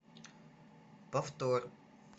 повтор